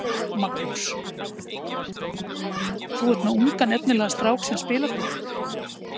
Magnús: Þú er með ungan efnilegan strák sem spilar fyrir þig?